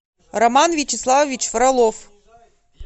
роман вячеславович фролов